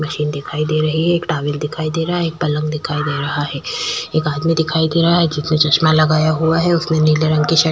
machine दिखाई दे रही है एक टॉवेल दिखाई दे रहा है एक पलंग दिखाई देरा है एक आदमी दिखाई दे रही है जीच मे चश्मा लगाया हुआ है उसने नीले रंगकी शर्ट --